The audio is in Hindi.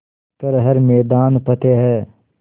कर हर मैदान फ़तेह